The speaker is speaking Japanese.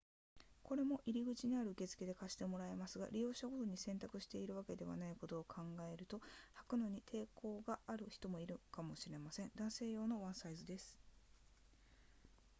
これも入口にある受付で借してもらえますが利用者ごとに洗濯しているわけではないことを考えると履くのに抵抗がある人もいるかもしれません男性用のワンサイズです